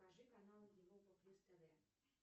покажи канал европа плюс тв